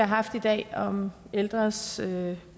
har haft i dag om ældres